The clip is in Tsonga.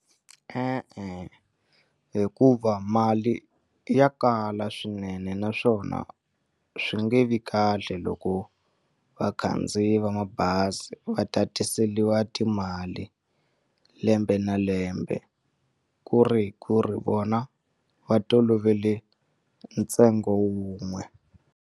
E-e, hikuva mali ya kala swinene naswona swi nge vi kahle loko vakhandziyi va mabazi va tatiseliwa timali lembe na lembe ku ri ku ri vona va tolovele ntsengo wun'we.